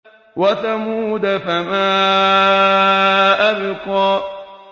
وَثَمُودَ فَمَا أَبْقَىٰ